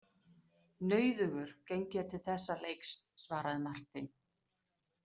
Nauðugur geng ég til þessa leiks, svaraði Marteinn.